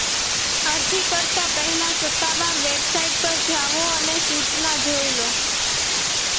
અરજી કરતા પહેલા સત્તાવાર વેબસાઇટ પર જાઓ અને સૂચના જોઈ લો